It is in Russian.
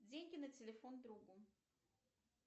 деньги на телефон другу